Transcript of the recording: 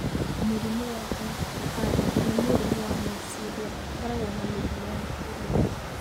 Mũrimũ wa Ohtahara nĩ mũrimũ wa meciria ũkoragwo na mĩrimũ ya kũrũara.